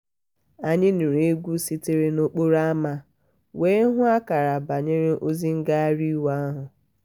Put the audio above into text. anyị nụrụ egwu sitere n'okporo ámá wee hụ akara banyere ozi ngagharị iwe ahụ.